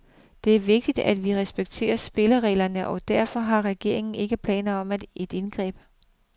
Det er vigtigt, at vi respekterer spillereglerne, og derfor har regeringen ikke planer om et indgreb.